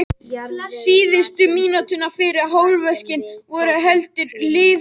Síðustu mínútur fyrri hálfleiks voru heldur líflegar.